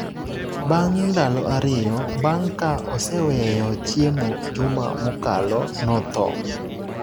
Bang’ ndalo ariyo bang’ ka oseweyo chiemo juma mokalo, notho.